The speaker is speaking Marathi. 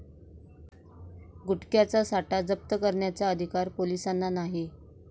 गुटख्याचा साठा जप्त करण्याचा अधिकार पोलिसांना नाही!'